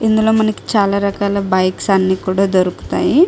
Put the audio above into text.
ఇందులో మనకి చాలా రకాల బైక్స్ అన్నీ కూడా దొరుకుతాయి.